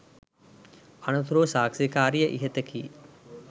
අනතුරුව සාක්ෂිකාරිය ඉහත කී